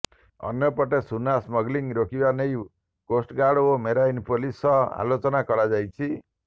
ଅନ୍ୟପଟେ ସୁନା ସ୍ମଗଲିଙ୍ଗ୍ ରୋକିବା ନେଇ କୋଷ୍ଟଗାର୍ଡ ଓ ମେରାଇନ ପୋଲିସ ସହ ଆଲୋଚନା କରାଯାଇଛି